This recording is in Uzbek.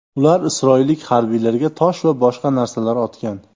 Ular isroillik harbiylarga tosh va boshqa narsalar otgan.